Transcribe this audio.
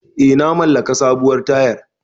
Eh na maƙala sabuwar tayar